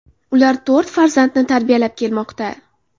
Ular to‘rt farzandni tarbiyalab kelmoqda.